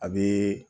A bɛ